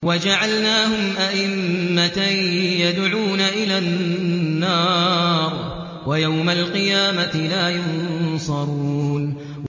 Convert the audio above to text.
وَجَعَلْنَاهُمْ أَئِمَّةً يَدْعُونَ إِلَى النَّارِ ۖ وَيَوْمَ الْقِيَامَةِ لَا يُنصَرُونَ